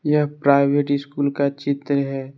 यह private school का चित्र है।